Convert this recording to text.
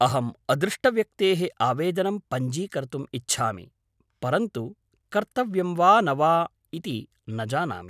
अहम् अदृष्टव्यक्तेः आवेदनं पञ्जीकर्तुम् इच्छामि, परन्तु कर्तव्यं वा न वेति न जानामि।